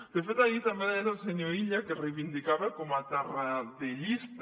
de fet ahir també deia el senyor illa que es reivindicava com a tarradellista